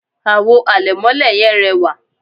àwo àlẹ̀mọ́lẹ̀ yẹn rẹwà